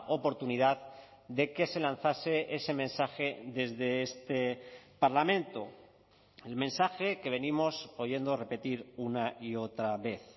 oportunidad de que se lanzase ese mensaje desde este parlamento el mensaje que venimos oyendo repetir una y otra vez